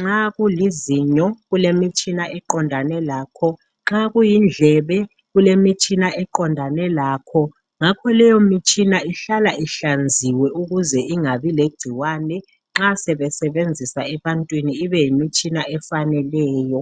nxa kulizinyo, kulemitshina eqondane lakho, nxa kuyindlebe kulemitshika eqondane lakho, ngakho leyo mitshina ihlala ihlanziwe ukuze ingabi legcikwane nxa sebesebenzisa ebantwini ibe yimitshina efaneleyo.